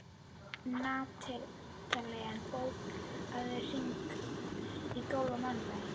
Natanael, bókaðu hring í golf á mánudaginn.